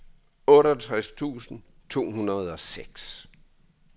otteogtres tusind to hundrede og seks